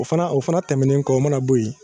O fana o fana tɛmɛnen kɔ o mana na bɔ yen